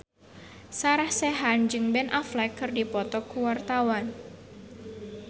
Sarah Sechan jeung Ben Affleck keur dipoto ku wartawan